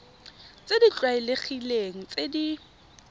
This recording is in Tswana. tse di tlwaelegileng tse di